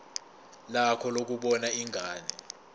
lakho lokubona ingane